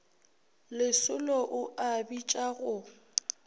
lesolo o a bitša go